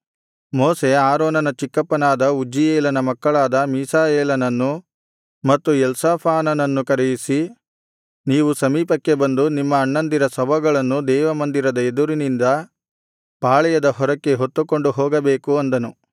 ಮೋಶೆ ಆರೋನನ ಚಿಕ್ಕಪ್ಪನಾದ ಉಜ್ಜಿಯೇಲನ ಮಕ್ಕಳಾದ ಮೀಶಾಯೇಲನನ್ನು ಮತ್ತು ಎಲ್ಸಾಫಾನನನ್ನು ಕರೆಯಿಸಿ ನೀವು ಸಮೀಪಕ್ಕೆ ಬಂದು ನಿಮ್ಮ ಅಣ್ಣಂದಿರ ಶವಗಳನ್ನು ದೇವಮಂದಿರದ ಎದುರಿನಿಂದ ಪಾಳೆಯದ ಹೊರಕ್ಕೆ ಹೊತ್ತುಕೊಂಡು ಹೋಗಬೇಕು ಅಂದನು